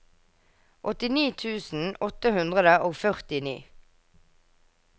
åttini tusen åtte hundre og førtini